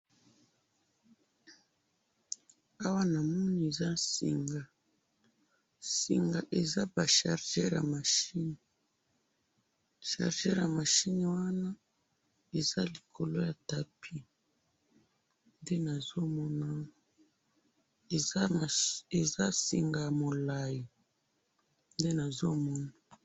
ewa na moni eza singa, singa eza ba chargeur ya machine ,chargeur ya machine wana eza likolo ya tapis nde nazo mona eza singa ya molayi nde nazo mona